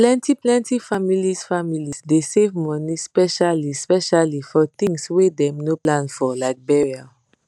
plentyplenty families families dey save money speciallyspecially for tins wey dem no plan for like burial